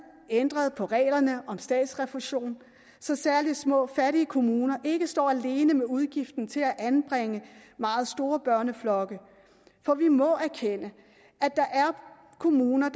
ændret på reglerne om statsrefusion så særlig små fattige kommuner ikke står alene med udgiften til at anbringe meget store børneflokke for vi må erkende at der er kommuner